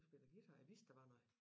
Du spiller guitar jeg vidste der var noget